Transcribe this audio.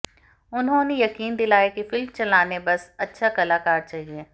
उन्होंने यकीन दिलाया कि फिल्म चलाने बस अच्छा कलाकार चाहिए